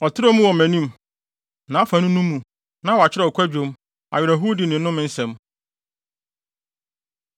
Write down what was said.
Ɔtrɛw mu wɔ mʼanim. Nʼafanu no mu, na wɔakyerɛw kwadwom, awerɛhowdi ne nnome nsɛm.